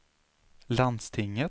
landstinget